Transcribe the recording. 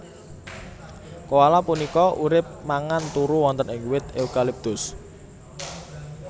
Koala punika urip mangan turu wonten ing wit eukaliptus